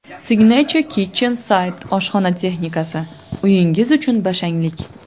Signature Kitchen Suite oshxona texnikasi: uyingiz uchun «bashanglik».